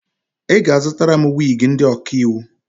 Ị ga-azụtara m wiigi ndị ọkaiwu!